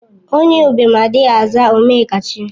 Onye ụbịam adịghị aza Ome ọkachie